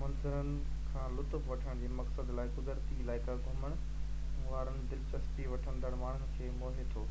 منظرن کان لطف وٺڻ جي مقصد لاءِ قدرتي علائقا گهمڻ وارن دلچسپي وٺندڙ ماڻهن کي موهي ٿو